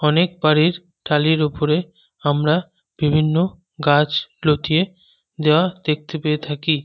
অনেক বাড়ির টালির ওপরে আমরা বিভিন্ন গাছ লতিয়ে দেওয়া দেখতে পেয়ে থাকি।